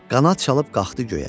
Qanad çalıb qalxdı göyə.